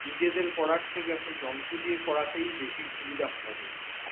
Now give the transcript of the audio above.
নিজেদের করার থেকে এখন যন্ত্র দিয়ে করাতেই বেশী সুবিধা মনে করছে।